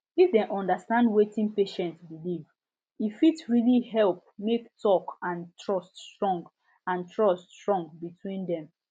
if dem understand wetin patient believe e fit really help make talk and trust strong and trust strong between dem